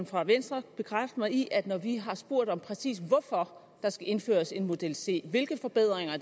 for venstre bekræfte mig i at når vi har spurgt om præcis hvorfor der skal indføres en model c hvilke forbedringer